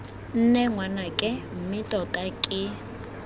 nne ngwanake mme tota ke